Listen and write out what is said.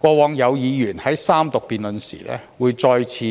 過往有議員在三讀階段再次